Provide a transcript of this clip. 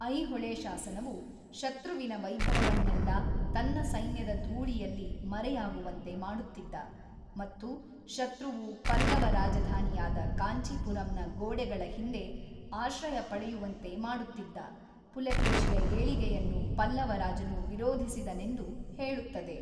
ಐಹೊಳೆ ಶಾಸನವು, ಶತ್ರುವಿನ ವೈಭವವನ್ನೆಲ್ಲ ತನ್ನ ಸೈನ್ಯದ ಧೂಳಿಯಲ್ಲಿ ಮರೆಯಾಗುವಂತೆ ಮಾಡುತ್ತಿದ್ದ ಮತ್ತು ಶತ್ರುವು ಪಲ್ಲವ ರಾಜಧಾನಿಯಾದ ಕಾಂಚೀಪುರಂನ ಗೋಡೆಗಳ ಹಿಂದೆ ಆಶ್ರಯಪಡೆಯುವಂತೆ ಮಾಡುತ್ತಿದ್ದ ಪುಲಕೇಶಿಯ ಏಳಿಗೆಯನ್ನು ಪಲ್ಲವ ರಾಜನು ವಿರೋಧಿಸಿದನೆಂದು ಹೇಳುತ್ತದೆ.